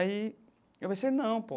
Aí eu pensei, não, pô.